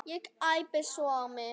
Ekki æpa svona á mig.